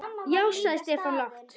Já sagði Stefán lágt.